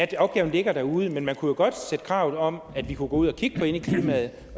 at opgaven ligger derude men man kunne jo godt stille krav om at man kunne gå ud og kigge på indeklimaet